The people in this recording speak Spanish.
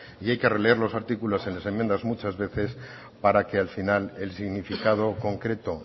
y hay que releer los artículos y las enmiendas muchas veces para que al final el significado concreto